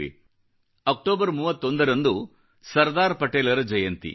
31 October ರಂದು ಸರ್ದಾರ್ ಪಟೇಲರ ಜಯಂತಿ